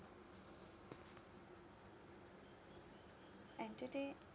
entertai